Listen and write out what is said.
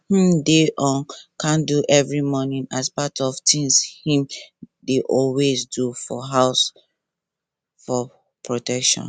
him dey on candle every morning as part of things him dey always do for house for protection